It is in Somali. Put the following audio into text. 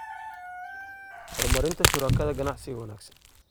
Horumarinta Shuraakada Ganacsiga Wanaagsan.